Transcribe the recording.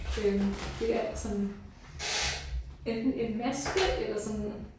Øh det er sådan enten en maske eller sådan